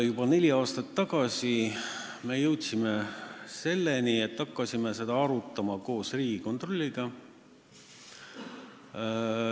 Juba neli aastat tagasi me jõudsime selleni, et hakkasime seda arutama koos Riigikontrolliga.